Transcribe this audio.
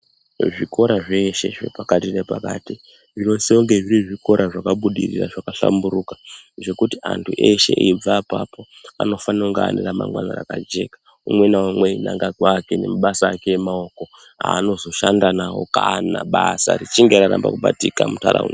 Zviri zveshe zve pakati ne pakati zvino sise kunge zviri zvikora zvaka budirira zvaka hlamburuka zvekuti antu eshe eibva apapo anofanira kunga ane ra mangwana raka jeka umwe na umwe einanga kwake ne mabasa ake emawoko anoshanda nawo kana basa richinge raramba kubatika mu ndaraunda.